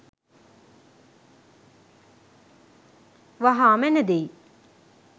වහා මැන දෙයි.